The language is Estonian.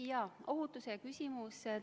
Jah, ohutuse küsimus.